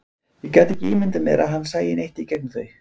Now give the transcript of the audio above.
Ég gat ekki ímyndað mér að hann sæi neitt í gegnum þau.